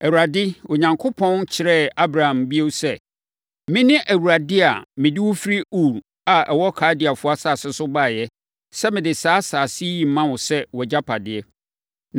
Awurade Onyankopɔn kyerɛɛ Abram bio sɛ, “Mene Awurade a mede wo firi Ur a ɛwɔ Kaldeafoɔ asase so baeɛ sɛ mede saa asase yi rema wo sɛ wʼagyapadeɛ.”